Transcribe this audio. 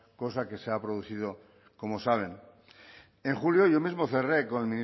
cosa que se ha producido como saben en julio yo mismo cerré con